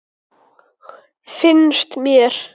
Finnst mér.